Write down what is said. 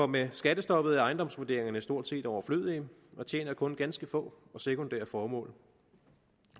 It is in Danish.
med skattestoppet er ejendomsvurderingerne stort set overflødige og tjener kun ganske få sekundære formål